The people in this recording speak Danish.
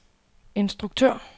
instruktør